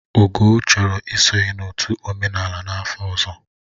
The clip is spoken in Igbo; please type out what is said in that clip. Ugo chọrọ isonye n'otu omenala n'afọ ọzọ